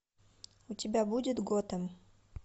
у тебя будет готэм